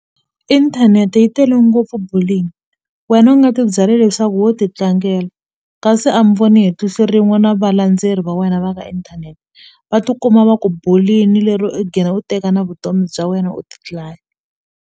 Inthanete yi tele ngopfu bullying wena u nga ti byela leswaku wo ti tlangela kasi a mi voni hi tihlo rin'we na valandzeleri va wena va ka inthanete va ti kuma va ku bully-ni lero i gina u teka na vutomi bya wena u ti dlaya.